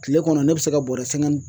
Kile kɔnɔ ne bɛ se ka bɔɔrɛ